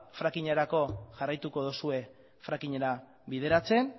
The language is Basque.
frackingerako jarraituko dozue frackingera bideratzen